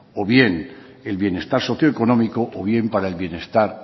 o bien el bienestar socioeconómico o bien para el bienestar